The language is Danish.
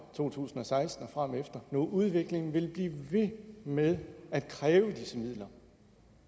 to tusind og seksten og fremefter når udviklingen vil blive ved med at kræve disse midler